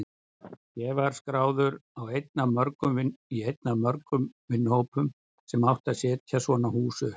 Ég var skráður í einn af mörgum vinnuhópum sem átti að setja svona hús upp.